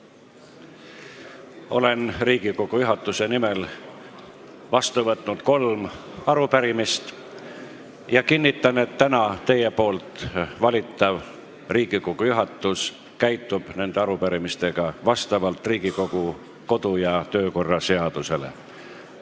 Olen Riigikogu juhatuse nimel vastu võtnud kolm arupärimist ja kinnitan, et täna teie valitav Riigikogu juhatus käitub nende arupärimistega vastavalt Riigikogu kodu- ja töökorra seadusele.